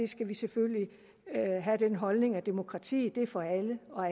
skal vi selvfølgelig have den holdning at demokratiet er for alle og